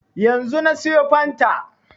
Yanzu na siyo fanta